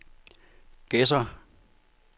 Gedser